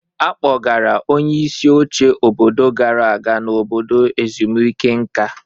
A kpọgara onyeisi oche obodo gara aga na obodo ezumike nka.